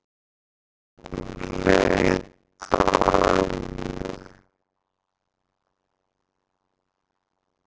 Hún leit á ömmu.